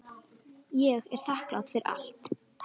Ég er þakklát fyrir allt.